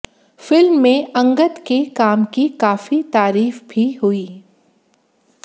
film में अंगद के काम की काफी तारीफ भी हुई